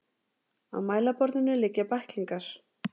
Á mælaborðinu liggja bæklingar.